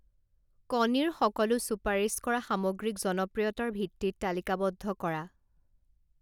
কণীৰ সকলো চুপাৰিচ কৰা সামগ্ৰীক জনপ্ৰিয়তাৰ ভিত্তিত তালিকাবদ্ধ কৰা।